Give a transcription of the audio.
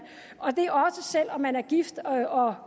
selv om man er gift og